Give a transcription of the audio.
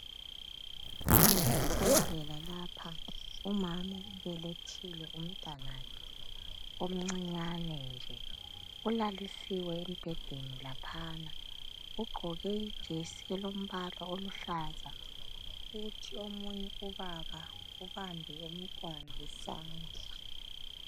Kusesibhedlela lapha, umama ubelethile umntwanakhe omncinyane nje. Ulalisiwe embhedeni laphana ugqoke ijesi elombala oluhlaza kuthi omunye ubaba ubambe umntwana isandla.